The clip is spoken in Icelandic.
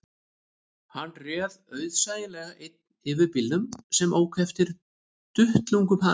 Hann réð auðsæilega einn yfir bílnum sem ók eftir duttlungum hans